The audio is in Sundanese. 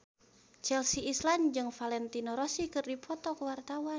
Chelsea Islan jeung Valentino Rossi keur dipoto ku wartawan